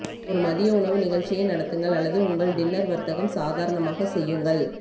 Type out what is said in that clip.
ஒரு மதிய உணவு நிகழ்ச்சியை நடத்துங்கள் அல்லது உங்கள் டின்னர் வர்த்தகம் சாதாரணமாக செய்யுங்கள்